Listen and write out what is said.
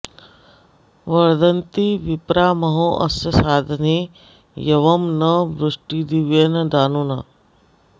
वर्धन्ति विप्रा महो अस्य सादने यवं न वृष्टिर्दिव्येन दानुना